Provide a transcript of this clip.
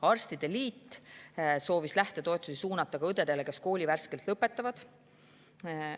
Arstide liit soovis lähtetoetusi suunata ka õdedele, kes on kooli värskelt lõpetanud.